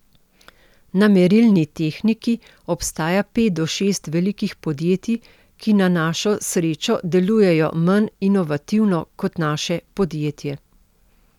Na merilni tehniki obstaja pet do šest velikih podjetij, ki na našo srečo delujejo manj inovativno kot naše podjetje.